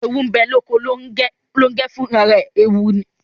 Ẹwù ńbe loko Longẹ, Longẹ fún àrà rẹ ẹwù ní